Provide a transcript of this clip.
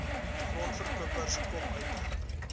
grondverkopers kop uittrek